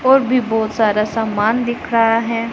और भी बहुत सारा सामान दिख रहा है।